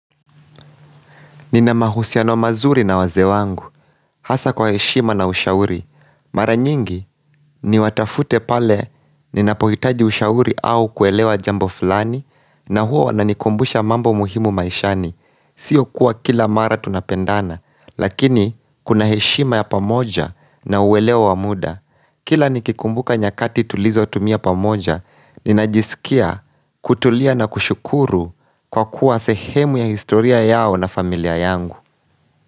Nina mahusiano mazuri na wazee wangu, hasa kwa heshima na ushauri. Mara nyingi niwatafute pale ninapohitaji ushauri au kuelewa jambo fulani na huwa wananikumbusha mambo muhimu maishani. Sio kuwa kila mara tunapendana, lakini kuna heshima ya pamoja na uelewo wa muda. Kila nikikumbuka nyakati tulizotumia pamoja, ninajisikia, kutulia na kushukuru kwa kuwa sehemu ya historia yao na familia yangu.